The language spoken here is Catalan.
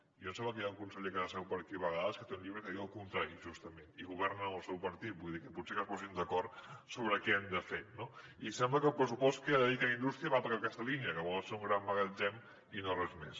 i a mi em sembla que hi ha un conseller que seu per aquí a vegades que té un llibre que diu el contrari justament i governa amb el seu partit vull dir que potser que es posin d’acord sobre què han de fer no i sembla que el pressupost que dedica a indústria va per aquesta línia que volen ser un gran magatzem i no res més